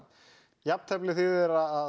jafntefli þýðir að